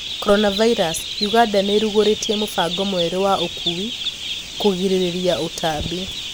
Coronavirus:Uganda niirugoritie mũbango mwerũ wa ũkuwi kũgirĩrĩria ũtambi.